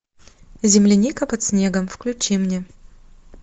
земляника под снегом включи мне